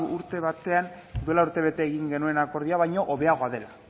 urte batean duela urte bete egin genuen akordia baino hobeagoa dela